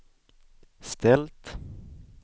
ställt